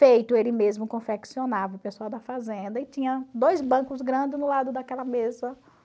Feito, ele mesmo confeccionava o pessoal da fazenda e tinha dois bancos grandes no lado daquela mesa